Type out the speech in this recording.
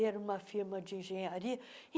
E era uma firma de engenharia.